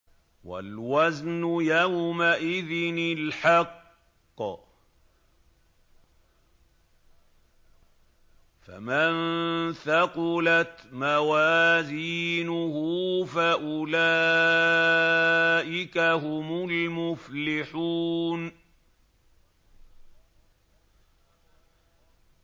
وَالْوَزْنُ يَوْمَئِذٍ الْحَقُّ ۚ فَمَن ثَقُلَتْ مَوَازِينُهُ فَأُولَٰئِكَ هُمُ الْمُفْلِحُونَ